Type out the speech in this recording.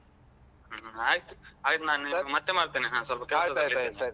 ಆಯ್ತು ಆಯ್ತು ನಾನ್ ನಿನ್ಗೆ ಮತ್ತೆ ಮಾಡ್ತೇನೆ ಹಾ ಸ್ವಲ್ಪ ಕೆಲ್ಸ.